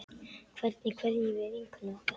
Hvernig kveðjum við vinkonu okkar?